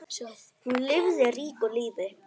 Hún lifði ríku lífi.